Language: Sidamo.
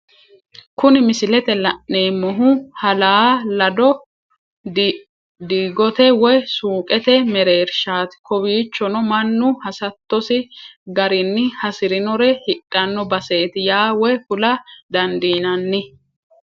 Kuni misilete la'neemohu halaa lado digote woyi suuqete mereerishati, kowichono manu hasatosi garinni hasirinore hidhano basseti yaa woyi kula dandinanni